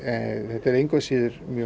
þetta er engu að síður mjög